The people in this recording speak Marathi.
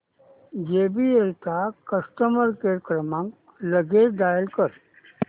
जेबीएल चा कस्टमर केअर क्रमांक लगेच डायल कर